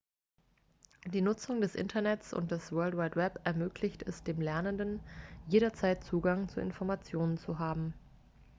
die nutzung des internets und des world wide web ermöglicht es den lernenden jederzeit zugang zu informationen zu haben